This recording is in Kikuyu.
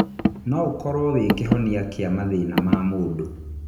Noũkorwo wĩ kĩhonia kĩa mathĩna ma mũndũ.